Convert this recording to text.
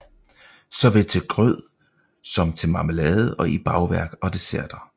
Såvel til grød som til marmelade og i bagværk og desserter